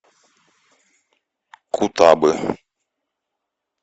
кутабы